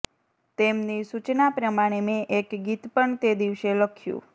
તેમની સુચના પ્રમાણે મેં એક ગીત પણ તે દિવસે લખ્યું